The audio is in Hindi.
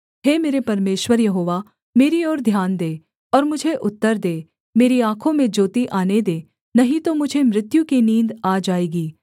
हे मेरे परमेश्वर यहोवा मेरी ओर ध्यान दे और मुझे उत्तर दे मेरी आँखों में ज्योति आने दे नहीं तो मुझे मृत्यु की नींद आ जाएगी